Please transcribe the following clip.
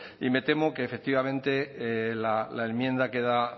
y me temo que efectivamente la enmienda queda